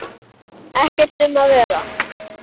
Ekkert um að vera.